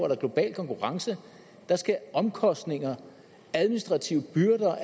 er global konkurrence skal omkostninger administrative byrder og